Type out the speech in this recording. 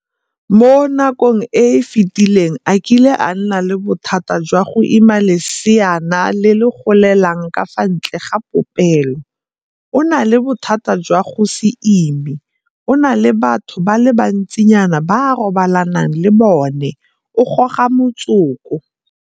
mo nakong e e fetileng a kile a nna le bothata jwa go ima leseana le le golelang ka fa ntle ga popelo, o na le bothata jwa go se ime, o na le batho ba le bantsinyana ba a robalanang le bona, o goga motsoko.